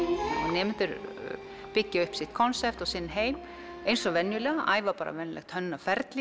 nemendur byggja upp sitt konsept sinn heim eins og venjulega æfa bara venjulegt hönnunarferli